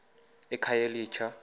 ekhayelitsha